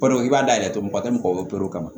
Balo i b'a dayɛlɛ mɔgɔ tɛ mɔgɔ kama